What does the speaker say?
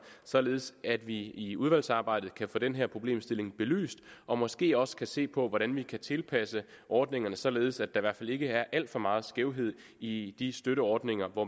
således at vi i udvalgsarbejdet kan få den problemstilling belyst og måske også kan se på hvordan vi kan tilpasse ordningerne således at der i hvert fald ikke er alt for meget skævhed i de støtteordninger hvor